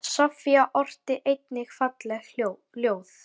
Soffía orti einnig falleg ljóð.